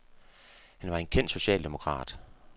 Han var en kendt socialdemokrat.